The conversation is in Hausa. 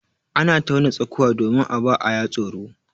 Ana tauna tsakuwa domin a ba aya tsoro.